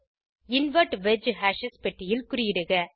invert wedge hashes பெட்டியில் குறியிடுக